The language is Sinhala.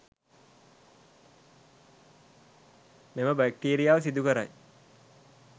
මෙම බැක්ටීරියාව සිදු කරයි